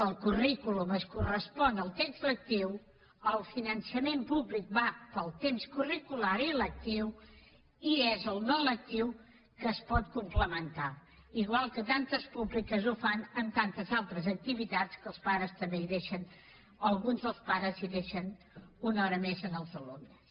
el currículum es correspon al text lectiu el finançament públic va pel temps curricular i lectiu i és el no lectiu que es pot complementar igual que tantes públiques ho fan amb tantes altres activitats en què alguns pares deixen una hora més els alumnes